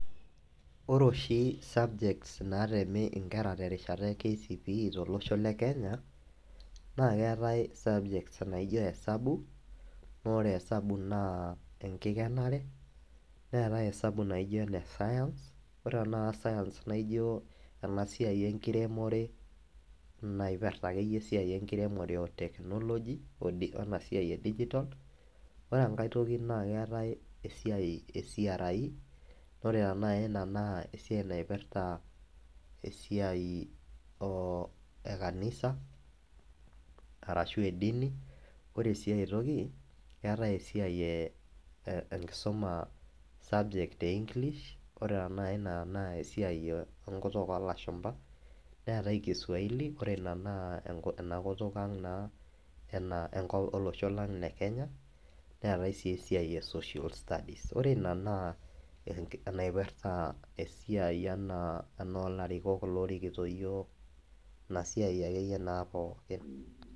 Ore oshi subjects natemi inkera terishata e kcpe tolosho le kenya naa keetae subjects naijo hesabu naa ore esabu naa enkikenare , neetae hesabu naijo enescience , ore tenakata science naijo ena siai enkiremore , naipirta akeyie esiai enkiremore otechnology odi wenasiai edigital , ore enkae toki naa keetae esiai ecre naa ore tenakata ina naa esiai naipirta esiai ooekanisa arashu edini . Ore siae toki keetae esiai e enkisuma esubject eenglish ore tenakata ina naa esiai enkutuk olashumba . Neetae kiswahili , ore ina naa ena kutuk ang enaa enko olosho lang le kenya , neetae sii esiai esocial stuies, ore ina naa enaiprta esiai anaa enoolarikok lorikito yiok , ina siai akeyie naa pookin.